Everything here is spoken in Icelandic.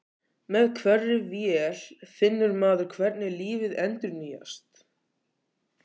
Með hverri vél finnur maður hvernig lífið endurnýjast.